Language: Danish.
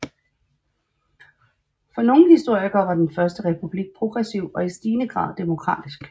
For nogle historikere var den første republik progressiv og i stigende grad demokratisk